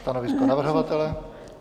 Stanovisko navrhovatele?